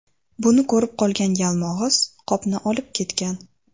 Buni ko‘rib qolgan Yalmog‘iz qopni olib ketgan.